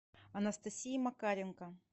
анастасии макаренко